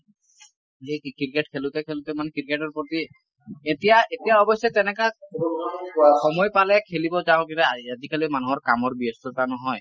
এই ক্ৰিকেট খেলোতে খেলোতে মানে ক্ৰিকেটৰ প্ৰতি , এতিয়া এতিয়া অৱশ্যে তেনেকা সময় পালেহে খেলিব যাওঁ কিন্তু আ আজিকালি মানুহৰ কামৰ ব্যস্ততা নহয় ।